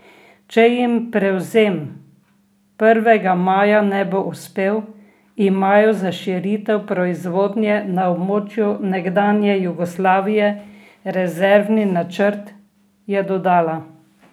Če jim prevzem Prvega maja ne bo uspel, imajo za širitev proizvodnje na območju nekdanje Jugoslavije rezervni načrt, je dodala.